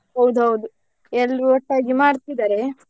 ಹೌದೌದು ಎಲ್ರು ಒಟ್ಟಾಗಿ ಮಾಡ್ತಿದ್ದಾರೆ.